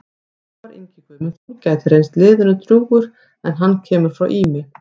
Ómar Ingi Guðmundsson gæti reynst liðinu drjúgur en hann kemur frá Ými.